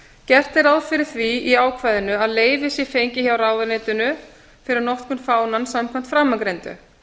gert er ráð fyrir því í ákvæðinu að leyfi sé fengið hjá ráðuneytinu fyrir notkun fánans samkvæmt framangreindu